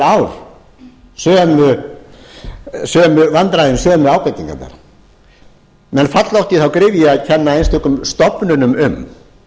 ár sömu vandræðin sömu ábendingarnar menn falla oft í þá gryfju að kenna einstökum stofnunum um